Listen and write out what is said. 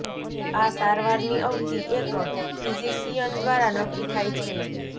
આ સારવારની અવધિ એક ફિઝિશિયન દ્વારા નક્કી થાય છે